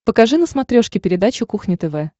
покажи на смотрешке передачу кухня тв